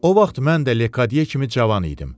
O vaxt mən də Lekatye kimi cavan idim.